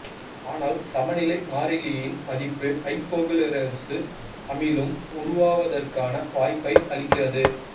ஆனால் சமநிலை மாறிலியின் மதிப்பு ஐப்போகுளோரசு அமிலம் உருவாவதற்கான வாய்ப்பை அளிக்கிறது